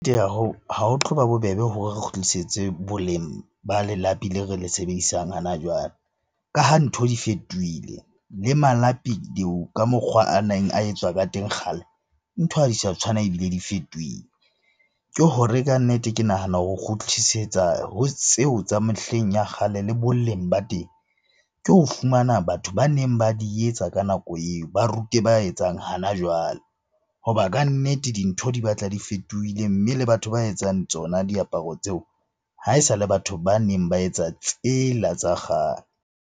Hoo, ha ho tlo ba bobebe hore re kgutlisetse boleng ba lelapi le re le sebedisang hana jwale. Ka ha ntho di fetohile, mme malapi ka mokgwa a neng a etswa ka teng kgale. Ntho ha di sa tshwana, ebile di fetohile. Ke hore kannete ke nahana ho kgutlisetsa ho tseo tsa mehleng ya kgale le boleng ba teng, ke ho fumana batho baneng ba di etsa ka nako eo, ba rute ba etsang hana jwale. Hoba kannete dintho di batla di fetohile, mme le batho ba etsang tsona diaparo tseo ha e sa le batho baneng ba etsa tsela tsa kgale.